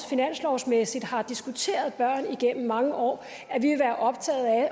finanslovsmæssigt har diskuteret børn igennem mange år